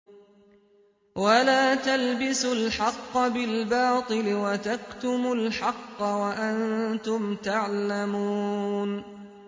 وَلَا تَلْبِسُوا الْحَقَّ بِالْبَاطِلِ وَتَكْتُمُوا الْحَقَّ وَأَنتُمْ تَعْلَمُونَ